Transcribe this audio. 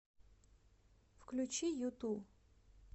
включи юту